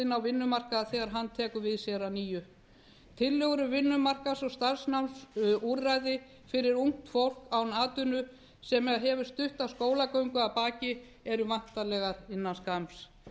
á vinnumarkað þegar hann tekur við sér að nýju tillögur um vinnumarkaðs og starfsnámsúrræði fyrir ungt fólk án atvinnu sem hefur stutta skólagöngu að baki eru væntanlegar innan skamms